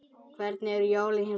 Hvernig eru jólin hjá þér?